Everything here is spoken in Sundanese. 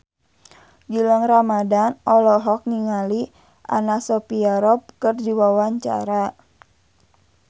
Gilang Ramadan olohok ningali Anna Sophia Robb keur diwawancara